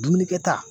Dumuni kɛta